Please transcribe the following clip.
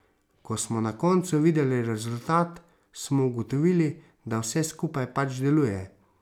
Ko smo na koncu videli rezultat, smo ugotovili, da vse skupaj pač deluje.